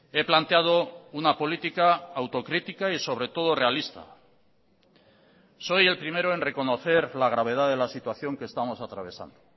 he planteado una política autocrítica y sobre todo realista soy el primero en reconocer la gravedad de la situación que estamos atravesando